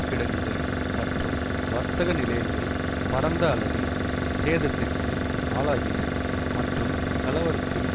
கிடங்குகள் மற்றும் வர்த்தக நிலையங்கள் பரந்த அளவில் சேதத்திற்கு ஆளாகின மற்றும் கலவரத்தில்